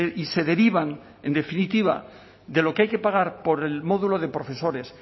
y se derivan en definitiva de lo que hay que pagar por el módulo de profesores